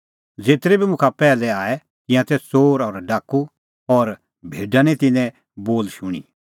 ज़ेतरै बी मुखा पैहलै आऐ तिंयां तै च़ोर और डाकू और भेडा निं तिन्नें बोल शूणीं